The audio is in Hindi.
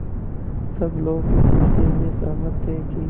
सब लोग इस विषय में सहमत थे कि